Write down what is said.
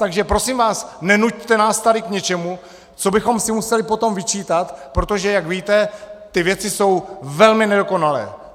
Takže prosím vás nenuťte nás tady k něčemu, co bychom si museli potom vyčítat, protože jak víte, ty věci jsou velmi nedokonalé!